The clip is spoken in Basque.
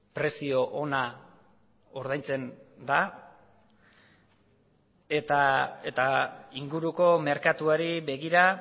prezio ona ordaintzen da eta inguruko merkatuari begira